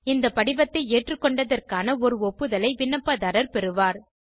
இந்த படிவத்தை ஏற்றுக்கொண்டதற்கான ஒரு ஒப்புதலை விண்ணப்பத்தாரர் பெறுவார்